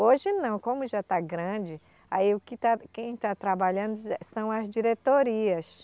Hoje não, como já está grande, aí o que está, quem está trabalhando são as diretorias.